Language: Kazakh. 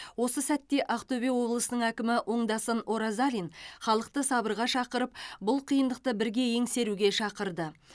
осы сәтте ақтөбе облысының әкімі оңдасын оразалин халықты сабырға шақырып бұл қиындықты бірге еңсеруге шақырды